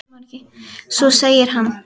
Svo segir hann.